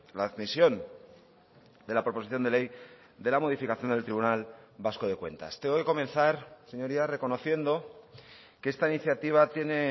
la admisión de la proposición de ley de la modificación del tribunal vasco de cuentas tengo que comenzar señorías reconociendo que esta iniciativa tiene